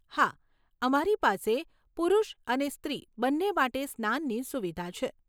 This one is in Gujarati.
હા, અમારી પાસે પુરુષ અને સ્ત્રી બંને માટે સ્નાનની સુવિધા છે.